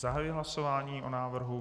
Zahajuji hlasování o návrhu.